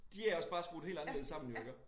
De er også bare skruet helt anderledes sammen jo iggå